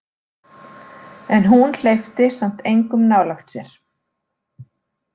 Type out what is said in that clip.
En hún hleypti samt engum nálægt sér.